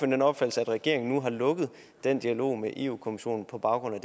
den opfattelse at regeringen nu har lukket den dialog med europa kommissionen på baggrund